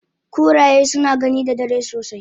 Kuraye suna gani da dare sosai